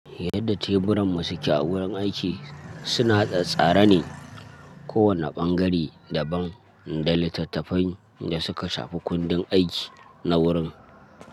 Yadda teburan mu su ke a wurin aiki suna tsattsara ne kowane ɓangare da ban da littattafan da suka shafi kundin aiki na wurin.